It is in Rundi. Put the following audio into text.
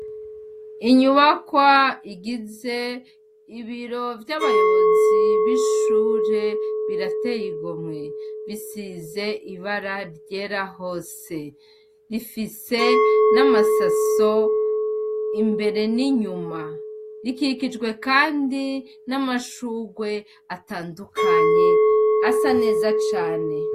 Inyubakwa igize ibiro vy'abayobozi b'ishure birateye igomwe. Bisize ibara ryera hose. Rifise n'amasaso imbere n'inyuma. Rikikijwe kandi n'amashurwe atandukanye asa neza cane.